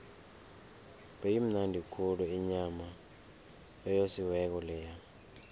beyimnandi khulu inyama eyosiweko leya